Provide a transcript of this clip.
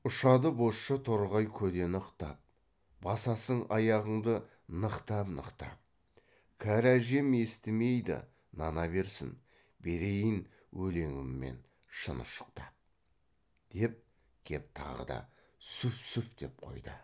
ұшады бозша торғай көдені ықтап басасың аяғыңды нықтап нықтап кәрі әжем естімейді нана берсін берейін өлеңіммен шын ұшықтап деп кеп тағы да суф су ф ф деп қойды